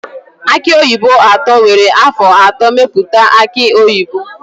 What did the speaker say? Aki oyibo atọ were afọ atọ mepụta aki oyibo.